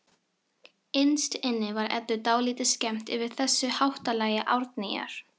Innst inni var Eddu dálítið skemmt yfir þessu háttalagi Árnýjar.